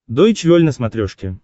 дойч вель на смотрешке